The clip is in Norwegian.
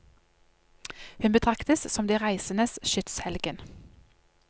Hun betraktes som de reisendes skytshelgen.